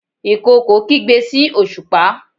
ìkookò kigbe sí osupa